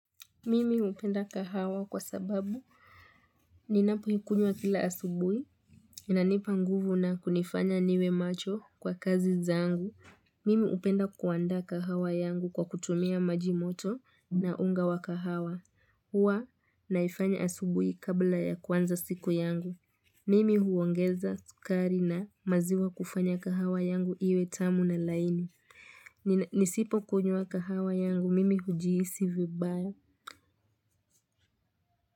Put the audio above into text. Mimi hupenda kahawa kwa sababu, ninapoikunywa kila asubuhi, inanipa nguvu na kunifanya niwe macho kwa kazi zangu. Mimi hupenda kuandaa kahawa yangu kwa kutumia maji moto na unga wa kahawa. Huwa naifanya asubuhi kabla ya kuanza siku yangu. Mimi huongeza sukari na maziwa kufanya kahawa yangu iwe tamu na laini. Nisipokunywa kahawa yangu, mimi hujihisi vibaya.